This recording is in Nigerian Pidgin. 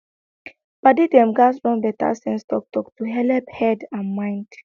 padi dem gats run better sense talktalk to helep head and mind